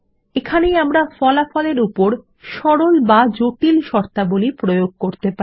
এখানেই আমরা ফলাফলের উপর সরল বা জটিল শর্তাবলী প্রয়োগ করতে পারি